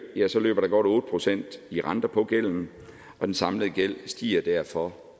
løber der godt otte procent i renter på gælden og den samlede gæld stiger derfor